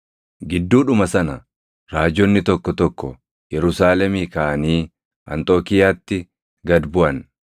Gidduudhuma sana raajonni tokko tokko Yerusaalemii kaʼanii Anxookiiyaatti gad buʼan.